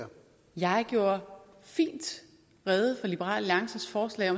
jeg gjorde fint rede for liberal alliances forslag